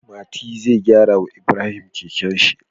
Mati zai gyara wa Ibrahim kekenshi